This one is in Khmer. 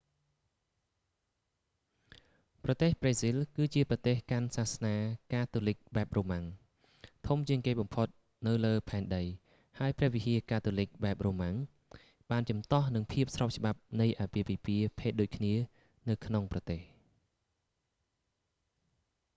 ប្រទេសប្រេស៊ីលគឺជាប្រទេសកាន់សាសនាកាតូលីកបែបរូម៉ាំង roman catholic ធំជាងគេបំផុតនៅលើផែនដីហើយព្រះវិហារកាតូលីកបែបរូម៉ាំង roman catholic បានជំទាស់នឹងភាពស្របច្បាប់នៃអាពាហ៍ពិពាហ៍ភេទដូចគ្នានៅក្នុងប្រទេស